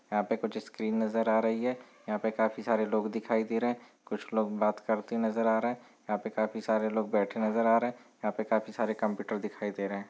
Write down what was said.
यहाँ पे कुछ स्क्रीन नज़र आ रही है यहाँ पे काफी सारे लोग दिखाई दे रहे है कुछ लोग बात करते नज़र आ रहे है यहाँ पे काफी सारे लोग बैठे नज़र आ रहे है यहाँ पे काफी सारे कंप्यूटर दिखाई दे रहे है।